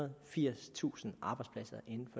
og firstusind arbejdspladser i den